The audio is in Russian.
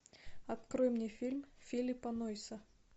открой мне фильм филиппа нойса